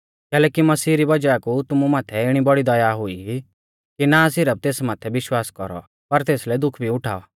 कैलैकि मसीह री वज़ाह कु तुमु माथै इणी बौड़ी दया हुई कि ना सिरफ तेस माथै विश्वास कौरौ पर तेसलै दुख भी उठाऔ